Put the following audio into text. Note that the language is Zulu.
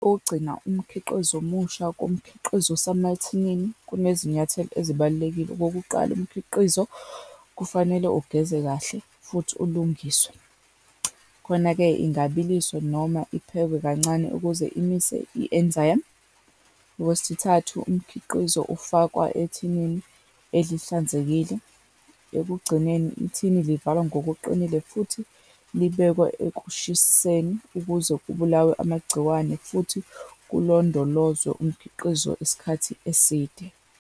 Ogcina umkhiqizo omusha komkhiqizo osemathinini, kunezinyathelo ezibalulekile. Okokuqala, umkhiqizo kufanele ugeze kahle, futhi ulungiswe. Khona-ke ingabiliswa, noma iphekwe kancane ukuze imise i-enzyme. Okwesithathu, umkhiqizo ufakwa ethinini elihlanzekile. Ekugcineni, ithini livalwa ngokuqinile, futhi libekwa ekushiseni ukuze kubulawe amagciwane, futhi kulondolozwe umkhiqizo isikhathi eside.